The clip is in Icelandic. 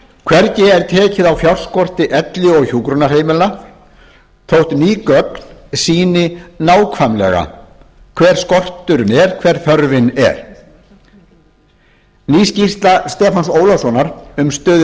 hvergi er tekið á fjárskorti elli og hjúkrunarheimilanna þótt ný gögn sýni nákvæmlega hver skorturinn er hver þörfin er ný skýrsla stefáns ólafssonar um stöðu